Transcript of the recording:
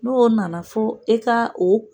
N'o nana fo e ka o